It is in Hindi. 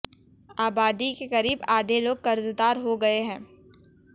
आबादी के करीब आधे लोग कर्जदार हो गये है